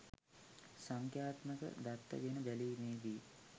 සංඛ්‍යාත්මක දත්ත ගෙන බැලීමේදී